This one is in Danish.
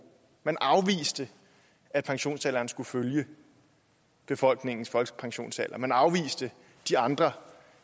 man afviste at pensionsalderen skulle følge befolkningens folkepensionsalder man afviste de andre